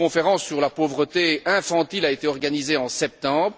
Une conférence sur la pauvreté infantile a été organisée en septembre.